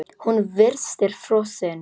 Hún virtist frosin.